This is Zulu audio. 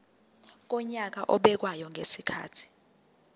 wonyaka obekwayo ngezikhathi